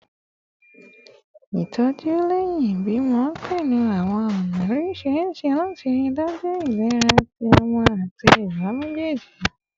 Itoju lẹhin ibimọ pẹlu awọn ọna oriṣiriṣi lati rii daju ilera ti ọmọ ati iya mejeeji